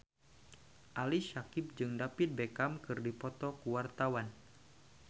Ali Syakieb jeung David Beckham keur dipoto ku wartawan